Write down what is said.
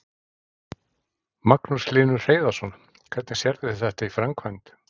Magnús Hlynur Hreiðarsson: Hvernig sérðu þetta í framkvæmd?